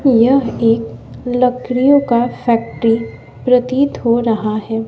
यह एक लकड़ियों का फैक्ट्री प्रतीत हो रहा है।